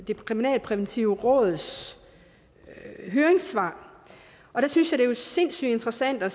det kriminalpræventive råds høringssvar og der synes jeg det er sindssygt interessant at